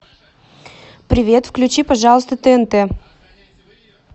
привет включи пожалуйста тнт